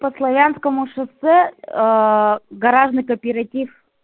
по славянскому шоссе гаражный кооператив